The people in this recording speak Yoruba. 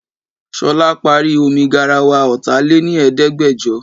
Ṣolá parí omi garawa ọta lé ní Ẹ̀ẹ́dẹ́gbẹjọ